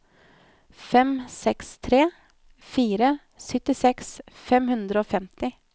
fem seks tre fire syttiseks fem hundre og femti